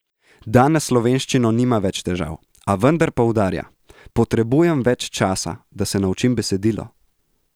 Danes s slovenščino nima več težav, a vendar poudarja: "Potrebujem več časa, da se naučim besedilo.